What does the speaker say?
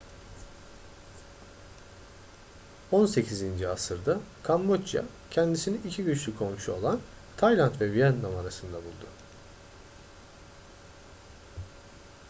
18. asırda kamboçya kendisini iki güçlü komşu olan tayland ve vietnam arasında buldu